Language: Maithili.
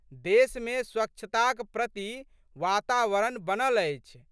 देशमे स्वच्छताक प्रति वातावरण बनल अछि।